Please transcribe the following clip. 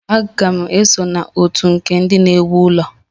Aga m esonye na otu nke ndị na-ewu ụlọ.